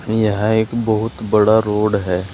यह एक बहुत बड़ा रोड है।